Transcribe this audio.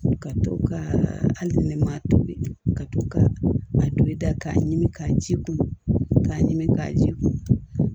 Ka to ka hali ni ma tobi ka to ka a don i da ka ɲim'a ji kun ka ɲimi k'a ji kun